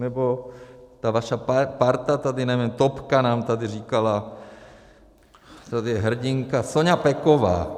Nebo ta vaše parta tady, nevím, topka nám tady říkala, tady je hrdinka Soňa Peková.